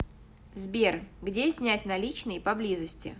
сбер где снять наличные поблизости